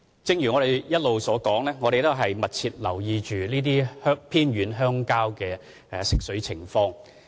正如我所說，我們一直密切留意這些偏遠鄉村的食水供應情況。